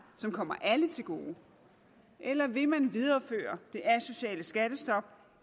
som kommer alle til gode eller vil man videreføre det asociale skattestop